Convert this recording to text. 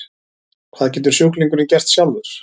Hvað getur sjúklingurinn gert sjálfur?